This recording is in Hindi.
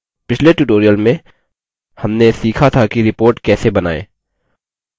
पिछले tutorial में हमने सीखा था कि report कैसे बनाएँ